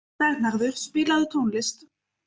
Vernharður, spilaðu tónlist.